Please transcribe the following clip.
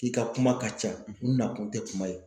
I ka kuma ka ca u nakun tɛ kuma ye.